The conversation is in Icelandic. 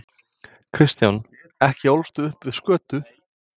Kristján: Ekki ólstu upp við skötu?